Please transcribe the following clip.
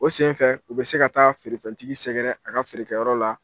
O sen fɛ u bɛ se ka taa feerefɛntigi sɛgɛrɛ a ka feerekɛyɔrɔ la